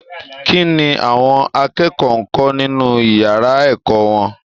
Kí ni àwọn akẹ́kọ̀ọ́ ń kọ́ nínú ìyàrá ẹ̀kọ́ wọn?